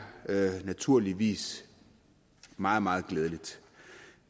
naturligvis meget meget glædeligt